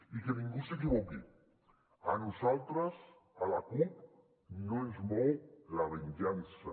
i que ningú s’equivoqui a nosaltres a la cup no ens mou la venjança